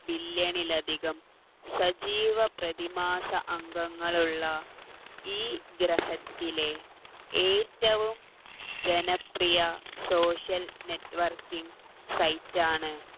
billion ൽ അധികം സജീവപ്രതിമാസ അംഗങ്ങളുള്ള ഈ ഗ്രഹത്തിലെ ഏറ്റവും ജനപ്രിയ social networking site ആണ്